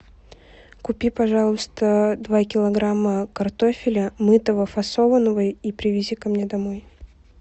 купи пожалуйста два килограмма картофеля мытого фасованного и привези ко мне домой